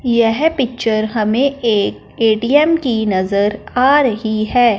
यह पिक्चर हमें एक ए_टी_एम की नजर आ रही है।